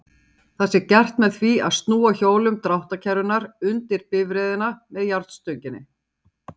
Það sé gert með því að snúa hjólum dráttarkerrunnar undir bifreiðina með járnstönginni.